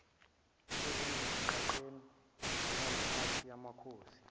ezigqagqene njengemiphakathi yamakhosi